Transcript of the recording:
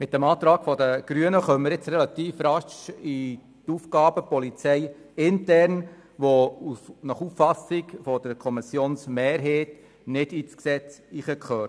Mit dem Antrag der Grünen kommen wir nun relativ rasch in den Bereich interner Aufgaben der Polizei, was nach Auffassung der Kommission nicht ins Gesetz gehört.